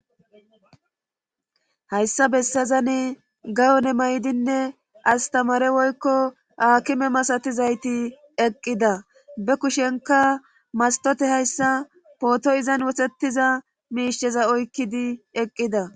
hayssa bessazani gayone maydinne astamare woykko aakime masatizayti eqqida be kushenka mastote hayssa pooto7izan wosetiza miisheza oykkidi eqqida